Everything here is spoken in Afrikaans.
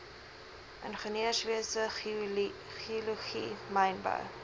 ingenieurswese geologie mynbou